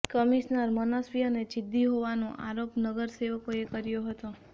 commissioner મનસ્વી અને જિદ્દી હોવાનો આરોપ નગરસેવકોએ કર્યો હતો